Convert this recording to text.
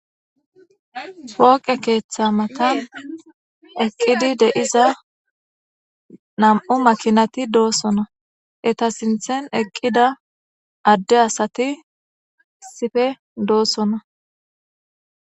Wooqe keeththa matan eqqidi deiza nam7u makinati doosona eta sinthen eqqida adde asati sife doossona.